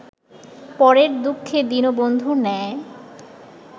পরের দুঃখে দীনবন্ধুর ন্যায়